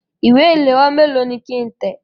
Ìwé ìléwọ́ méèló ni kí ń tẹ̀?